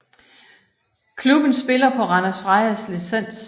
Klubben spiller på Randers Frejas licens